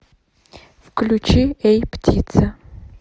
включи эй птица